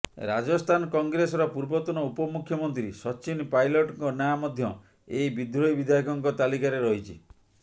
ରାଜସ୍ଥାନ କଂଗ୍ରେସର ପୂର୍ବତନ ଉପମୁଖ୍ୟମନ୍ତ୍ରୀ ସଚ୍ଚିନ ପାଇଲଟ୍ଙ୍କ ନାଁ ମଧ୍ୟ ଏହି ବିଦ୍ରୋହୀ ବିଧାୟକଙ୍କ ତାଲିକାରେ ରହିଛି